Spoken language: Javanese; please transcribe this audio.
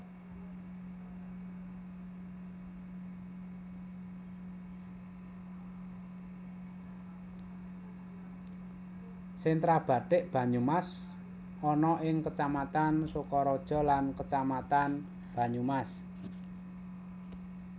Sentra bathik Banyumas ana ing Kecamatan Sokaraja lan Kecamatan Banyumas